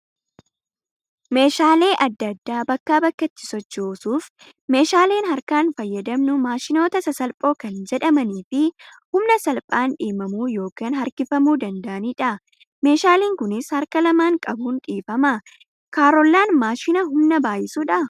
Meeshaalee adda addaa bakkaa bakkatti sochoosuuf meeshaaleen harkaan fayyadamnu maashinoota sasalphoo kan jedhamanii fi humna salphaan dhiibamui yookaan harkifamuu danda'anidha. Meeshaan Kunis harka lamaan qabuun dhiifama. Kaarollaan maashina humna baay'isudhaa?